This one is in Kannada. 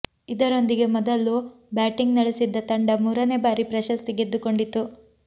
ಇದರೊಂದಿಗೆ ಮೊದಲು ಬ್ಯಾಟಿಂಗ್ ನಡೆಸಿದ್ದ ತಂಡ ಮೂರನೇ ಬಾರಿ ಪ್ರಶಸ್ತಿ ಗೆದ್ದುಕೊಂಡಿತು